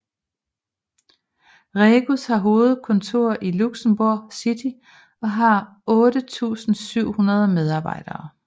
Regus har hovedkontor i Luxembourg City og har 8 700 medarbejere